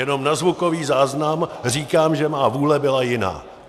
Jenom na zvukový záznam říkám, že má vůle byla jiná.